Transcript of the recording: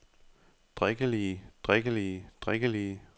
drikkelige drikkelige drikkelige